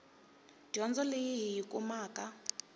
dyondzo leyi hi yi kumaka